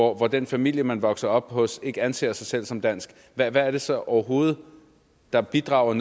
og hvor den familie man vokser op hos ikke anser sig selv som dansk hvad er det så overhovedet der bidrager